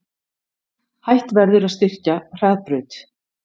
Hætt verði að styrkja Hraðbraut